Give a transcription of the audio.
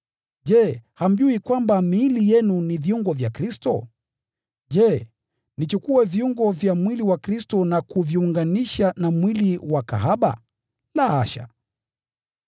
Je, hamjui kwamba miili yenu ni viungo vya Kristo mwenyewe? Je, nichukue viungo vya mwili wa Kristo na kuviunganisha na mwili wa kahaba? La hasha!